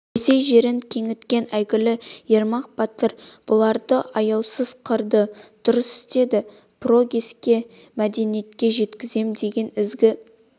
ресей жерін кеңіткен әйгілі ермак батыр бұларды аяусыз қырды дұрыс істед прогресске мәдениетке жеткізем деген ізгі